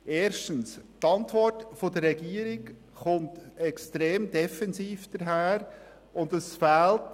Erstens kommt die Antwort der Regierung extrem defensiv daher, und es fehlt